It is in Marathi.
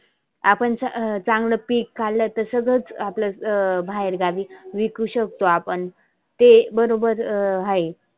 आपण चा चांगल पिक काढल तर सगळ आपल अं बाहेर गावी विकु शकतो आपण. ते बरोबर आहे.